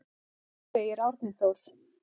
Segir Árni Þór.